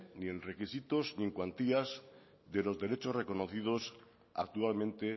ni en requisitos ni en cuantías de los derechos reconocidos actualmente